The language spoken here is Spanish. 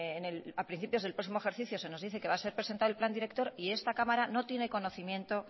al principio del próximo ejercicio se nos dice que va a ser presentado el plan director y esta cámara no tiene conocimiento